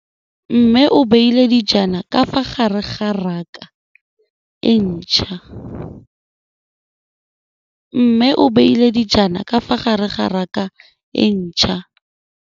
Mmê o beile dijana ka fa gare ga raka e ntšha.